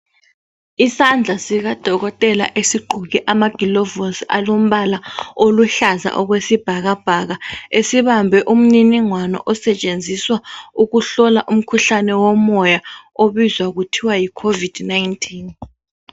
Isandla sikadokotela esigqoke amakilovusi alombala oluhlaza okwesibhakabhaka esibambe umniningwano osetshenziswa ukuhlola umkhuhlane womoya obizwa kuthiwa yicovid 19